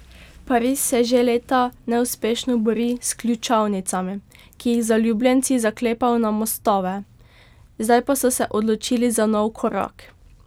Pariz se že leta neuspešno bori s ključavnicami, ki jih zaljubljenci zaklepajo na mostove, zdaj pa so se odločili za nov korak.